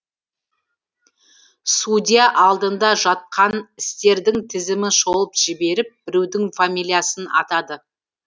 судья алдында жатқан істердің тізімін шолып жіберіп біреудің фамилиясын атады